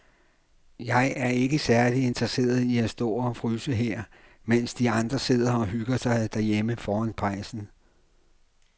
Jeg er ikke særlig interesseret i at stå og fryse her, mens de andre sidder og hygger sig derhjemme foran pejsen.